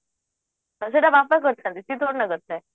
ହଁ ସେଇଟା ବାପା କରିଥାନ୍ତି ସେ କଣଟା କରିଥାଏ